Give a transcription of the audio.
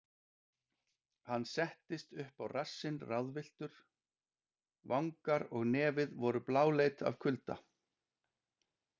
Hann settist upp á rassinn ráðvilltur, vangar og nefið voru bláleit af kulda.